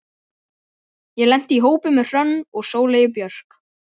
Ég lenti í hópi með Hrönn og Sóleyju Björk.